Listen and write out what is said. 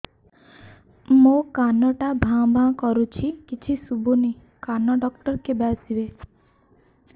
ମୋ କାନ ଟା ଭାଁ ଭାଁ କରୁଛି କିଛି ଶୁଭୁନି କାନ ଡକ୍ଟର କେବେ ଆସିବେ